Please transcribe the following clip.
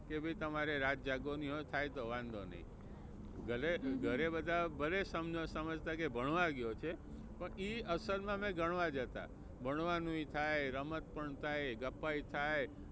કે ભાઈ તમારે રાત જાગવાની હોય થાય તો વાંધો નહીં. ઘરે ઘરે બધા ભલે સમજતા સમજતા કે ભણવા ગયો છે પણ એ અસલ માં અમે ગણવા જતા. ભણવાનુંય પણ થાય, રમત પણ થાય, ગપ્પાય થાય